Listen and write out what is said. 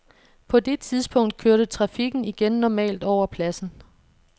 På det tidspunkt kørte trafikken igen normalt over pladsen.